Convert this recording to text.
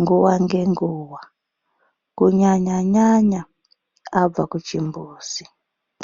nguva nge nguva ku nyanya nyanya abva ku chimbuzi.